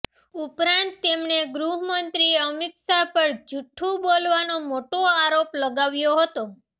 ઉપરાંત તેમણે ગૃહમંત્રી અમિત શાહ પર જુઠ્ઠુ બોલવાનો મોટો આરોપ લગાવ્યો હતો